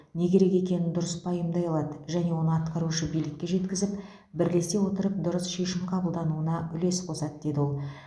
не керек екенін дұрыс пайымдай алады және оны атқарушы билікке жеткізіп бірлесе отырып дұрыс шешім қабылдануына үлес қосады деді ол